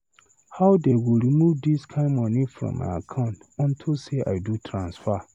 How dey go remove this kin money from my account unto say I do transfer.